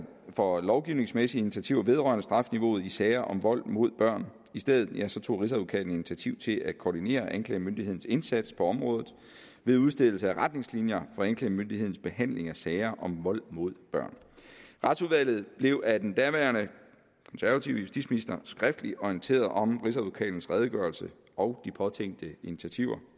for lovgivningsmæssige initiativer vedrørende strafniveauet i sager om vold mod børn i stedet tog rigsadvokaten initiativ til at koordinere anklagemyndighedens indsats på området ved udstedelse af retningslinjer for anklagemyndighedens behandling af sager om vold mod børn retsudvalget blev af den daværende konservative justitsminister skriftligt orienteret om rigsadvokatens redegørelse og de påtænkte initiativer